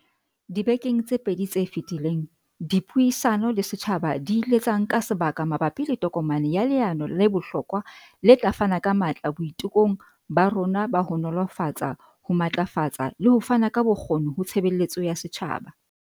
Dibekeng tse pedi tse feti leng, dipuisano le setjhaba di ile tsa nka sebaka ma bapi le tokomane ya leano le bohlokwa le tla fana ka matla boitekong ba rona ba ho nolofatsa, ho matlafatsa le ho fana ka bokgoni ho tshebeletso ya setjhaba.